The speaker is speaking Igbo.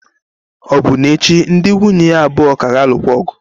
Ọbụna echi ndị nwunye ya abụọ ka ga-alụ ọgụ.